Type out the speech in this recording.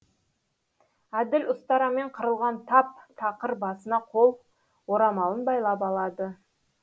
әділ ұстарамен қырылған тап тақыр басына қол орамалын байлап алады